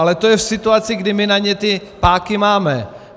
Ale to je v situaci, kdy my na ně ty páky máme.